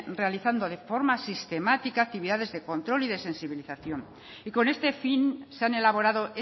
realizando de forma sistemática actividades de control y de sensibilización y con este fin se han elaborado